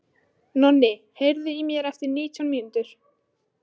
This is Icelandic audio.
Nonni, heyrðu í mér eftir nítján mínútur.